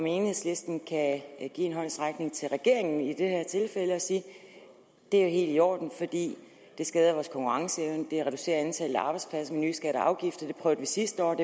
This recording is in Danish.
enhedslisten kan give en håndsrækning til regeringen i det her tilfælde og sige det er helt i orden for det skader vores konkurrenceevne og reducerer antallet af arbejdspladser nye skatter og afgifter sidste år og